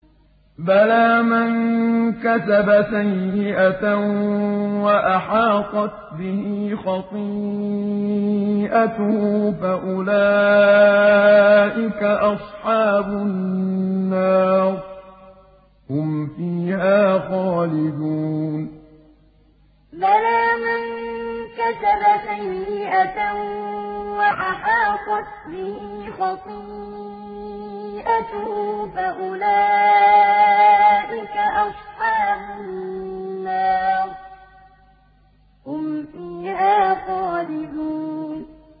بَلَىٰ مَن كَسَبَ سَيِّئَةً وَأَحَاطَتْ بِهِ خَطِيئَتُهُ فَأُولَٰئِكَ أَصْحَابُ النَّارِ ۖ هُمْ فِيهَا خَالِدُونَ بَلَىٰ مَن كَسَبَ سَيِّئَةً وَأَحَاطَتْ بِهِ خَطِيئَتُهُ فَأُولَٰئِكَ أَصْحَابُ النَّارِ ۖ هُمْ فِيهَا خَالِدُونَ